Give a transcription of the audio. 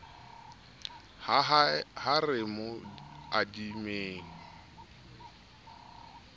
he ha re mo adimeng